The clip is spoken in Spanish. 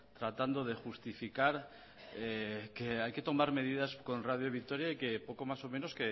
tratando de justificar que hay que tomar medidas con radio vitoria y que poco más o menos